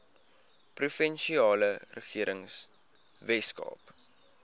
provinsiale regering weskaap